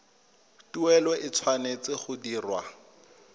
tuelo e tshwanetse go dirwa